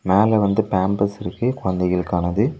மேல வந்து பேம்பர்ஸ் இருக்கு குழந்தைகளுக்கானது.